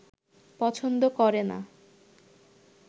পছন্দ করে না